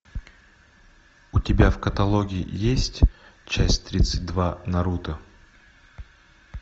у тебя в каталоге есть часть тридцать два наруто